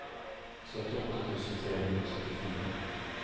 syttiåtte tusen tre hundre og syttifire